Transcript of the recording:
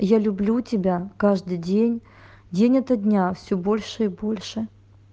я люблю тебя каждый день день ото дня все больше и больше